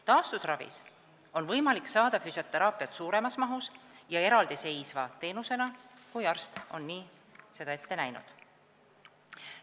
Taastusravis on võimalik saada füsioteraapiat suuremas mahus ja eraldiseisva teenusena, kui arst on seda ette näinud.